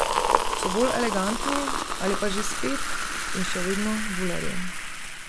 So bolj elegantni ali pa že spet in še vedno bulerji.